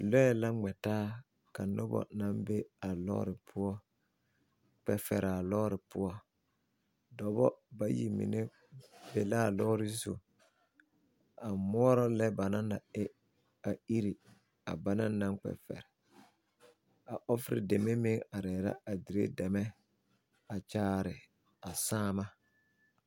Lɔe la gmɛ taa. Ka noba na be a lɔre poʊ kpe fere a lɔre poʊ. Doɔbo bayi mene be la a lɔre zu a muoro le ba na naŋ e a ire a ba na naŋ kpe fere. A ofere deme meŋ are la a dire dɛme a kyaare a saama.